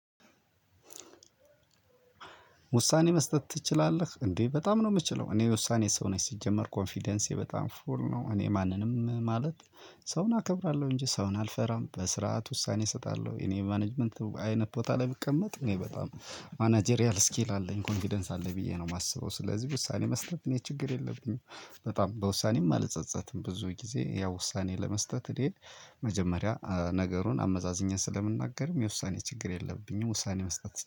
ውሳኔ መስጠት ትችላለህ እንዴ? በጣም ነው የምችለው እኔ የውሳኔ ሰው ነኝ ሲጀመር ኮንፊደንሴ በጣም ፉል ነው እኔ ማንንም ማለት ሰውን አከብራለሁ እንጂ ሰውን አልፈራም በስርዓት ውሳኔ እሰጣለሁ። እኔ ማኔጅመንት አይነት ቦታ ላይ ብቀመጥ እኔ በጣም ማናጀሪያል ስኪል አለኝ ኮንፊደንስ አለኝ ብዬ ነው የማስበው ስለዚህ ውሳኔ መስጠት እኔ ችግር የለብኝም። በጣም በውሳኔም አልጸጸትም ብዙ ጊዜ ያው ውሳኔ ለመስጠት መጀመሪያ ነገሩን አመዛዝኜ ስለምናገርም የውሳኔ ችግር የለብኝም። ውሳኔ መስጠት